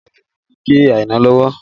Ọ̀bẹ tuntun ti gé Aina lọ́wọ́